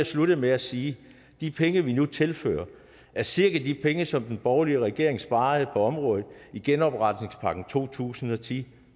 slutte med at sige at de penge vi nu tilfører er cirka de penge som den borgerlige regering sparede på området i genopretningspakken to tusind og ti